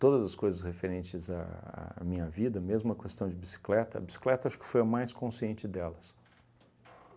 Todas as coisas referentes à à minha vida, mesmo a questão de bicicleta, a bicicleta acho que foi a mais consciente delas.